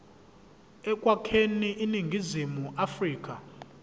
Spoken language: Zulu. ekwakheni iningizimu afrika